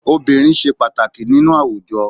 Obìnrin ṣe pàtàkì nínú àwùjọ.